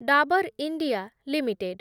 Dabur India limited